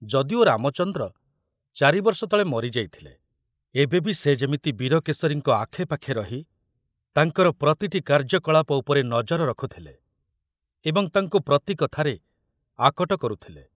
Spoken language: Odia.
ଯଦିଓ ରାମଚନ୍ଦ୍ର ଚାରିବର୍ଷ ତଳେ ମରିଯାଇଥିଲେ, ଏବେ ବି ସେ ଯେମିତି ବୀରକେଶରୀଙ୍କ ଆଖେ ପାଖେ ରହି ତାଙ୍କର ପ୍ରତିଟି କାର୍ଯ୍ୟକଳାପ ଉପରେ ନଜର ରଖୁଥିଲେ ଏବଂ ତାଙ୍କୁ ପ୍ରତି କଥାରେ ଆକଟ କରୁଥିଲେ।